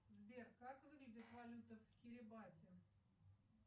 сбер как выглядит валюта в кирибати